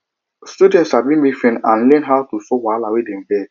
students de sabi make friends and learn how to solve wahala wey dem get